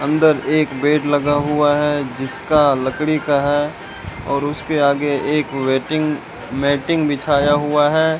अंदर एक बेड लगा हुआ है जिसका लकड़ी का है और उसके आगे एक वेटिंग मेंटिंग बिछाया हुआ है।